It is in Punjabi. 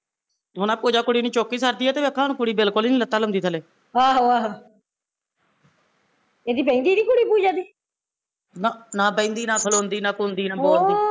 ਹੁਣ ਆਹ ਪੂਜਾ ਕੁੜੀ ਨੂੰ ਚੁੱਕ ਹੀਂ ਸਕਦੀ ਐ ਤੇ ਦੇਖੋ ਹੁਣ ਕੁੜੀ ਬਿਲਕੁਲ ਹੀਂ ਨੀ ਲੱਤਾਂ ਲਾਉਂਦੀ ਥੱਲੇ ਨਾ, ਨਾ ਬਹਿੰਦੀ, ਨਾ ਖਲੋਦੀ, ਨਾ ਕੁੰਦੀ, ਨਾ ਬੋਲਦੀ